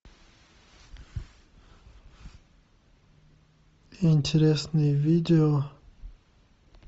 интересные видео